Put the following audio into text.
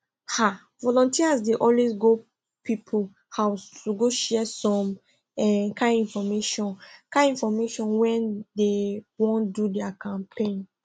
um volunteers dey always go people house to go share some um kind infomation kind infomation when dey wan do their campaigns